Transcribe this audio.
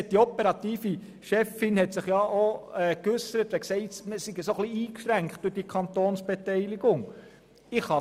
Nun hat sich die operative Chefin dahingehend geäussert, man sei durch die Kantonsbeteiligung ein bisschen eingeschränkt.